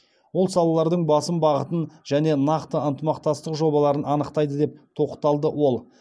ол салалардың басым бағытын және нақты ынтымақтастық жобаларын анықтайды деп тоқталды ол